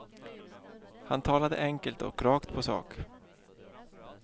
Han talade enkelt och rakt på sak.